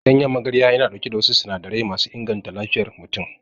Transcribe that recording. Ganyen magarya yana ɗauke da wasu sinadarai masu inganta lafiyar mutum.